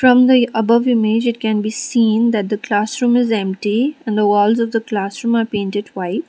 on the above image it can be seen that the clasroom is empty and walls of clasroom are painted white.